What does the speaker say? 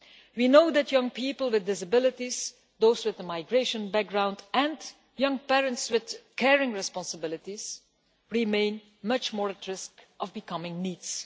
We know that young people with disabilities, those with a migration background and young parents with caring responsibilities remain much more at risk of becoming NEETs.